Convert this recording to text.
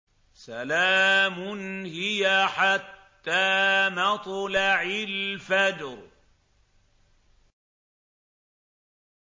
سَلَامٌ هِيَ حَتَّىٰ مَطْلَعِ الْفَجْرِ